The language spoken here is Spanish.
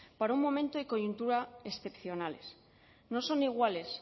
para un momento y coyuntura excepcionales no son iguales